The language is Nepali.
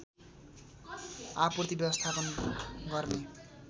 आपूर्ति व्यवस्थापन गर्ने